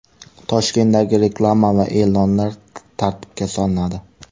Toshkentdagi reklama va e’lonlar tartibga solinadi.